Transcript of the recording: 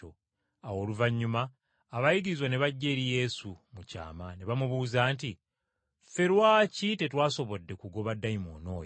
Awo oluvannyuma abayigirizwa ne bajja eri Yesu mu kyama ne bamubuuza nti, “Lwaki ffe tetwasobodde kugoba dayimooni oyo?”